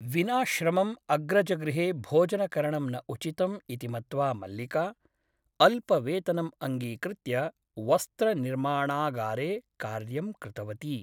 विना श्रमम् अग्रजगृहे भोजनकरणं न उचितम् इति मत्त्वा मल्लिका अल्पवेतनम् अङ्गीकृत्य वस्त्रनिर्माणागारे कार्यं कृतवती ।